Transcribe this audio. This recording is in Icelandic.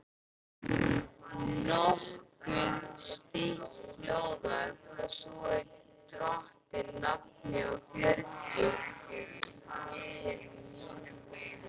Nokkuð stytt hljóðar það svo í drottins nafni og fjörutíu